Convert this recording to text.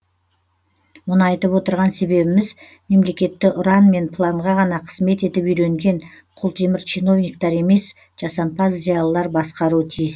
мұны айтып отырған себебіміз мемлекетті ұран мен планға ғана қызмет етіп үйренген құлтемір чиновниктер емес жасампаз зиялылар басқаруы тиіс